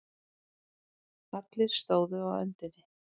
Allir stóðu á öndinni.